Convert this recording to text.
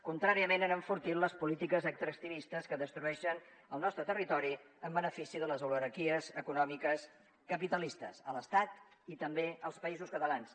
contràriament han enfortit les polítiques extractivistes que destrueixen el nostre territori en benefici de les oligarquies econòmiques capitalistes a l’estat i també als països catalans